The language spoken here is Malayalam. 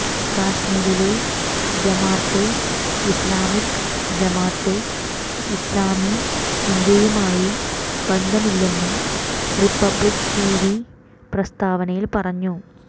കശ്മീരിലെ ജമാത്തെ ഇസ്ലാമിക്ക് ജമാത്തെ ഇസ്ലാമി ഇന്ത്യയുമായി ബന്ധമില്ലെന്നും റിപ്പബ്ലിക് ടിവി പ്രസ്താവനയിൽ പറഞ്ഞു